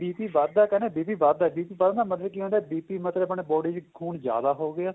BP ਵੱਧਦਾ ਏ ਕਹਿੰਦੇ BP ਵੱਧਦਾ BP ਵੱਧਣ ਦਾ ਮਤਲਬ ਕੀ ਹੁੰਦਾ BP ਮਤਲਬ ਆਪਣੀ body ਚ ਖੂਨ ਜਿਆਦਾ ਹੋ ਗਿਆ